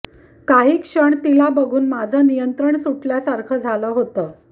काही क्षण तिला बघून माझं नियंत्रण सुटल्यासारखं झालं होतं